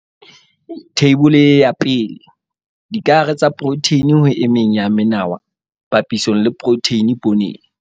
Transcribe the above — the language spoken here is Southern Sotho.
Theibole ya 1. Dikahare tsa diprotheine ho e meng ya menawa papisong le protheine pooneng.